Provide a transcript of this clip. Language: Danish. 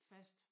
Fast